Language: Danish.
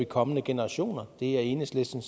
kommende generationer det er enhedslisten